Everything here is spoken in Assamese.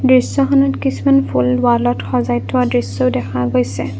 দৃশ্যখনত কিছুমান ফুল ৱালত সজাই থোৱা দৃশ্যও দেখা গৈছে।